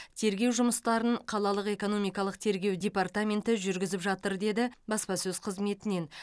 тергеу жұмыстарын қалалық экономикалық тергеу департаменті жүргізіп жатыр деді баспасөз қызметінен